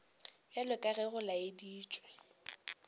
bjalo ka ge go laeditšwe